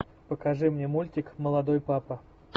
покажи мне мультик молодой папа